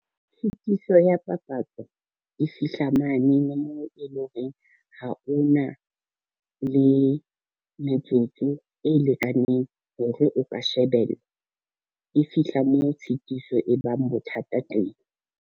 Tshitiso ya papatso, e fihla mane moo e lo reng ha o na le metsotso e lekaneng hore o ka shebella, e fihla moo tshitiso e bang bothata teng.